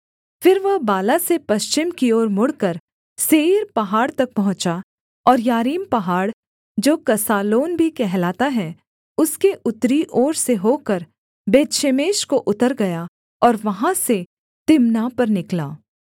फिर वह बाला से पश्चिम की ओर मुड़कर सेईर पहाड़ तक पहुँचा और यारीम पहाड़ जो कसालोन भी कहलाता है उसके उत्तरी ओर से होकर बेतशेमेश को उतर गया और वहाँ से तिम्नाह पर निकला